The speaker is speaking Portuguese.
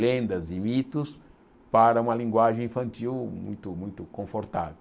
lendas e mitos para uma linguagem infantil muito muito confortável.